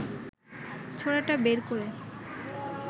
ছোরাটা বের করে